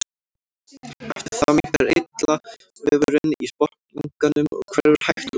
Eftir það minnkar eitlavefurinn í botnlanganum og hverfur hægt og bítandi.